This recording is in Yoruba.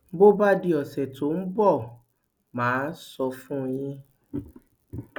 bó bá di ọsẹ tó ń bọ mà á sọ fún yín